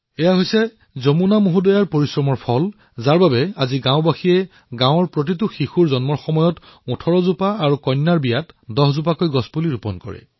এয়া যমুনাজীৰ পৰিশ্ৰমৰ প্ৰতাপৰ ফলতেই আজি গাঁওবাসীয়ে প্ৰত্যেক শিশুৰ জন্মত ১৮ জোপা গছপুলি আৰু ছোৱালীৰ বিয়াত ১০ জোপা গছপুলি ৰোপণ কৰে